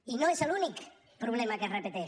i no és l’únic problema que es repeteix